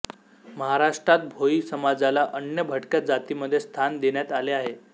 महाराष्ट्रात भोई समाजाला अन्य भटक्या जातीमध्ये स्थान देण्यात आले आहे